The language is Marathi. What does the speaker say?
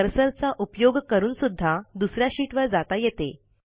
कर्सरचा उपयोग करून सुध्दा दुस या शीटवर जाता येते